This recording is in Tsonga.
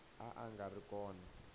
a a nga ri kona